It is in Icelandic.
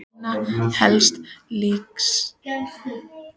Einna helst líktist það grófum en mjög léttum sandi.